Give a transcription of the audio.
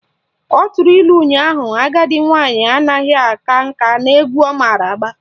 Ọ tụrụ ilu ụnyaahụ " Agadi nwaanyị anaghị aka nka n'egwu ọ mara agba"